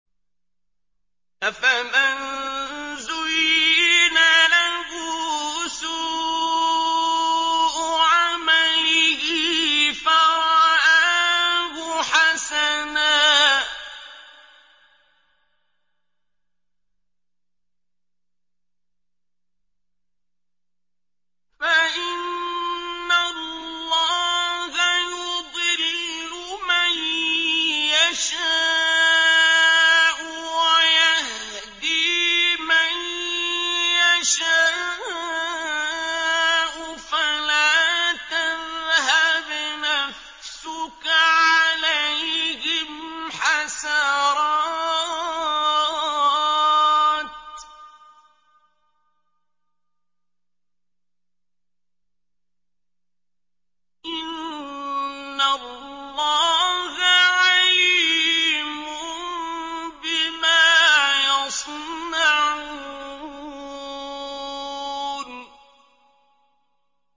أَفَمَن زُيِّنَ لَهُ سُوءُ عَمَلِهِ فَرَآهُ حَسَنًا ۖ فَإِنَّ اللَّهَ يُضِلُّ مَن يَشَاءُ وَيَهْدِي مَن يَشَاءُ ۖ فَلَا تَذْهَبْ نَفْسُكَ عَلَيْهِمْ حَسَرَاتٍ ۚ إِنَّ اللَّهَ عَلِيمٌ بِمَا يَصْنَعُونَ